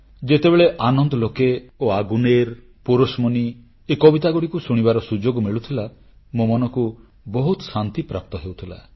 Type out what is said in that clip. ଯେତେବେଳେ ଆନନ୍ଦଲୋକେ ଓ ଆଗୁନେର ପୋରୋଶମନୀ ଏ କବିତାଗୁଡ଼ିକୁ ଶୁଣିବାର ସୁଯୋଗ ମିଳୁଥିଲା ମୋ ମନକୁ ବହୁତ ଶାନ୍ତିପ୍ରାପ୍ତ ହେଉଥିଲା